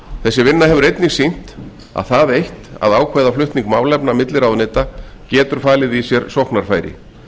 þessi vinna hefur einnig sýnt að það eitt að ákveða flutning málefna milli ráðuneyta getur falið í sér sóknarfæri